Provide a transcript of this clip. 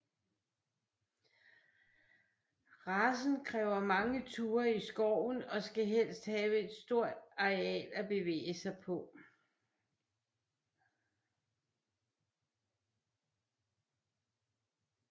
Racen kræver mange ture i skoven og skal helst have et stort areal at bevæge sig på